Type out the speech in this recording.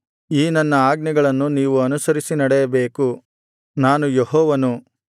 ಈ ನನ್ನ ಆಜ್ಞೆಗಳನ್ನು ನೀವು ಅನುಸರಿಸಿ ನಡೆಯಬೇಕು ನಾನು ಯೆಹೋವನು